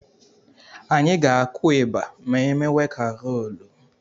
Anyị ga-akụ ịgbà ma emewe karoolu.